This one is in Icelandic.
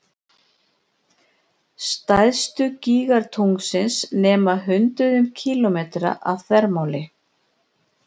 Stærstu gígar tunglsins nema hundruðum kílómetra að þvermáli.